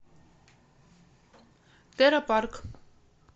терра парк